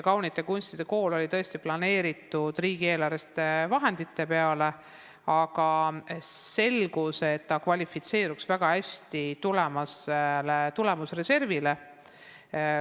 Kaunite kunstide kooli jaoks olid tõesti planeeritud riigieelarvelised vahendid, aga selgus, et ta kvalifitseeruks väga hästi tulemusreservist raha saamiseks.